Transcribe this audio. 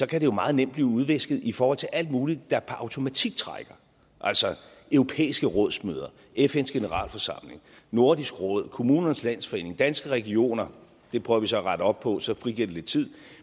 kan det jo meget nemt blive udvisket i forhold til alt muligt der per automatik trækker altså europæiske rådsmøder fns generalforsamling nordisk råd kommunernes landsforening danske regioner det prøver vi så at rette op på så frigiver det lidt tid